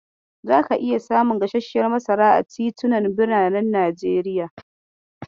Zaka iya samun gasarshiyar masara a titunan biranen Najeriya.